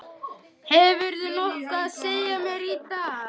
Hefurðu nokkuð að segja mér í dag?